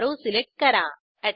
arrow select करा